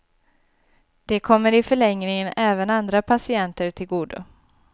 Det kommer i förlängningen även andra patienter till godo.